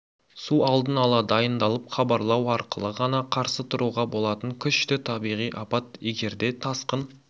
су алдын ала дайындалып хабарлау арқылы ғана қарсы тұруға болатын күшті табиғи апат егер де тасқын